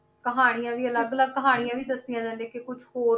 ਕਹਾਣੀਆਂ ਵੀ ਅਲੱਗ ਅਲੱਗ ਕਹਾਣੀਆਂ ਵੀ ਦੱਸੀਆਂ ਇਹਨਾਂ ਨੇ ਕਿ ਕੁਛ ਹੋਰ